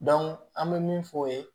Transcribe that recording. an bɛ min fɔ o ye